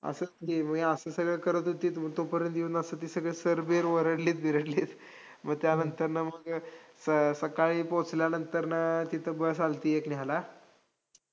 असंच मग, हे असं सगळी करत होती तोपर्यंत येऊन असे ते sir बीर ओरडले बिरडलेत, मग त्यानंतरनं मग स~ सकाळी पोहोचल्यानंतर तिथं bus आल्ती एक न्यायला